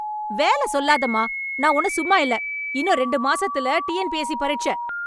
வேல சொல்லாதமா! நான் ஒன்னும் சும்மா இல்ல, இன்னும் ரெண்டு மாசத்துல டிஎன்பிஎஸ்சி பரீட்சை!